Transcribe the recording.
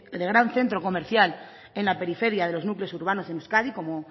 de gran centro comercial en la periferia de los núcleos urbanos en euskadi como